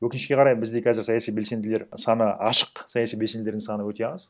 өкінішке қарай бізде қазір саяси белсенділер саны ашық саяси белсенділердің соны өте аз